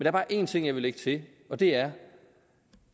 er bare en ting jeg vil lægge til og det er